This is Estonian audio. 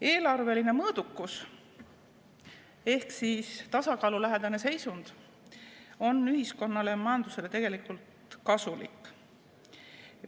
Eelarveline mõõdukus ehk tasakaalulähedane seisund on ühiskonnale ja majandusele tegelikult kasulik.